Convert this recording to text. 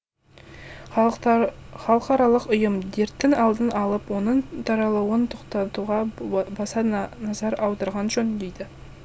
халықаралық ұйым дерттің алдын алып оның таралуын тоқтатуға баса назар аударған жөн дейді